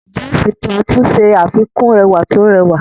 Jos Plateau ṣe àfikún ẹwà tó rẹwà.